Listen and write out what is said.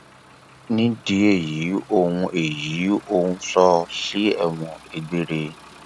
nídìí èyí òun èyí òun sọ ọ sí ẹwọn gbére